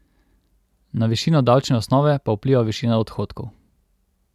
Na višino davčne osnove pa vpliva višina odhodkov.